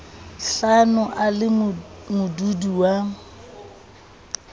hlano a le modudi wa